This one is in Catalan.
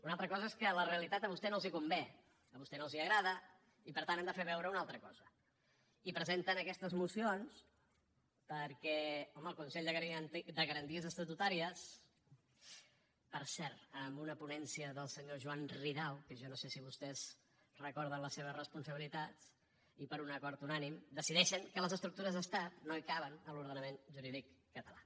una altra cosa és que la realitat a vostès no els convé a vostès no els agrada i per tant han de fer veure una altra cosa i presenten aquestes mocions perquè home el consell de garanties estatutàries per cert amb una ponència del senyor joan ridao que jo no sé si vostès recorden les seves responsabilitats i per un acord unànime decideixen que les estructures d’estat no hi caben a l’ordenament jurídic català